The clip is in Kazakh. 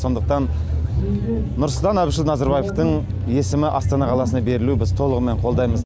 сондықтан нұрсұлтан әбішұлы назарбаевтың есімі астана қаласына берілуін біз толығымен қолдаймыз